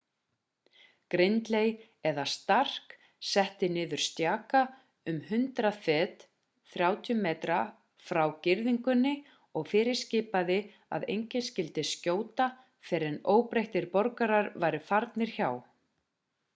gridley eða stark setti niður stjaka um 100 fet 30 m frá girðingunni og fyrirskipaði að enginn skyldi skjóta fyrr en óbreyttir borgarar væru farnir hjá